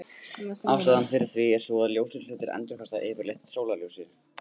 Ástæðan fyrir því er sú að ljósir hlutir endurkasta yfirleitt sólarljósinu.